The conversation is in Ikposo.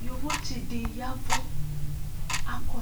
Yovotse de yavu akɔ